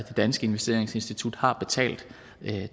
danske investeringsinstitut har betalt